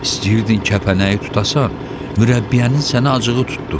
İstəyirdin kəpənəyi tutasan, mürəbbiyənin sənə acığı tutdu.